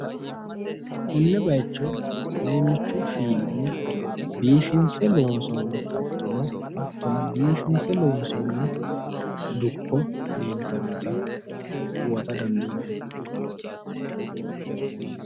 Konne bayicho leemmichu fiilinni biifinse loonsoonni xaxxo no hattono biifinse loonsoonni dukko leeltannota huwata dandiinanni.